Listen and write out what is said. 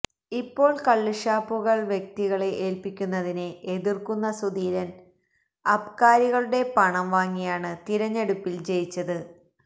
ഇപ്പോള് കള്ള് ഷാപ്പുകള് വ്യക്തികളെ ഏല്പിക്കുന്നതിനെ എതിര്ക്കുന്ന സുധീരന് അബ്കാരികളുടെ പണം വാങ്ങിയാണ് തിരഞ്ഞെടുപ്പില് ജയിച്ചത്